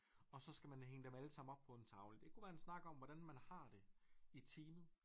Og så skal man hænge dem alle sammen op på en tavle det kunne være en snak om hvordan man har det i team